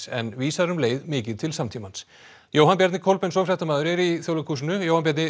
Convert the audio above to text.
en vísar um leið mikið til samtímans Jóhann Bjarni Kolbeinsson fréttamaður er í Þjóðleikhúsinu Jóhann Bjarni